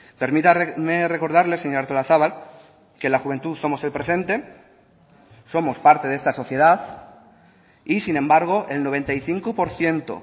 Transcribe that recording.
permítame recordarle señora artolazabal que la juventud somos el presente somos parte de esta sociedad y sin embargo el noventa y cinco por ciento